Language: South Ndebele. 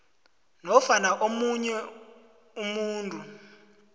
nofana omunye umuntu